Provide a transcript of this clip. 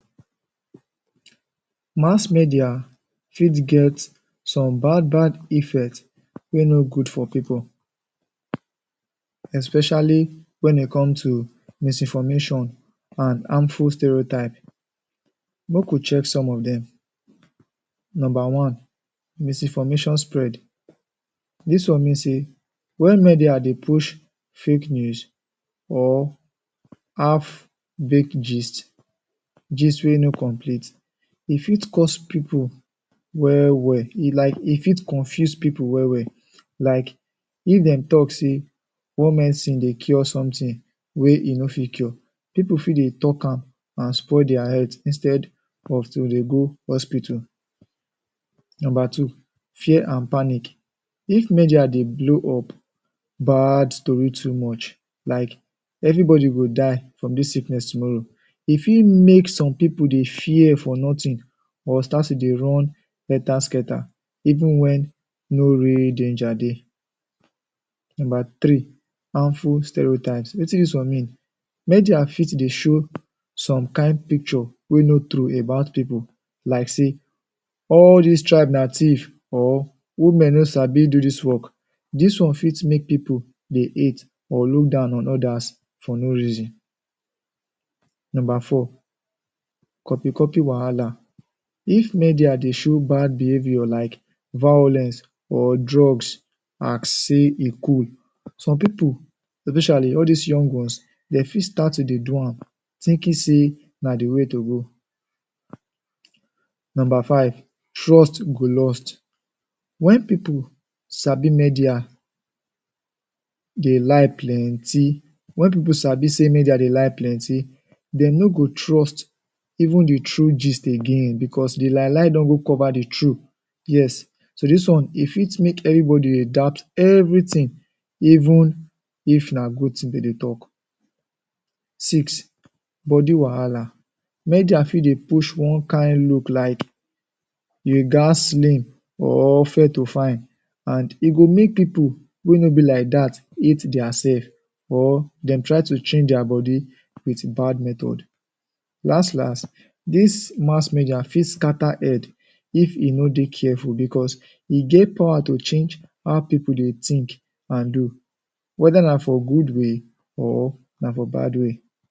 Mass media fit get some bad bad effect wey no go for people especially wen e come misinformation and harmful stereotype. Make we check some of dem. Number one, misinformation spread. Dis one mean say wen media dey push fake news or half baked gist, gist wey no complete e fit cause people well well like e fit confuse people well well, like if them talk say one medicine dey cure something wey e no fit cure, people fit dey talk am and spoil their health instead of dey go hospital. Number two, fear and panic. If media dey blow up bad story too much like everybody go die from this sickness tomorrow, e fit make some people dey fear for nothing or start to dey run helter skelter even wen no real danger dey. Number three, harmful stereotypes. Wetin dis one mean? Media fit dey show some kain picture wey no true about people like say, “all dis tribe na thief, or woman no sabi do dis one”. Dis one fit make people dey hate or look down on others for no reason. Number four, copy copy wahala. If media dey show bad behavior like violence or drugs as say e cool, some people especially all dis young ones, dey fit start to dey do am thinking say na the way to go. Number five, trust go lost. Wen people sabi media dey lie plenty, wen people sabi say media dey lie plenty, dey no go trust even the true gist again because the lie lie don go cover the true. Yes, so dis one e fit make everybody dey doubt everything even if na good thing dem go dey talk. Six, body wahala. Media fit dey push one kain look like you ghats slim or fair to fine and e go make people wey no be like dat dat hate their self or dem try to change their body wit bad method. Las las, dis mass media fit scatter head if e no dey careful because e get power to change how people dey think and do. whether na for good way or na for bad way.